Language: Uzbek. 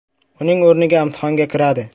uning o‘rniga imtihonga kiradi.